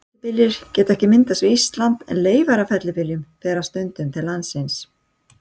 Fellibyljir geta ekki myndast við Ísland, en leifar af fellibyljum berast stundum til landsins.